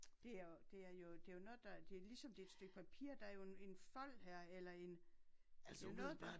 Det er det er jo det jo noget der det ligesom det et stykke papir der jo en en fold her eller en det jo noget